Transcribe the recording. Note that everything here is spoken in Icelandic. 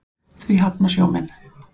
Því hafna sjómenn.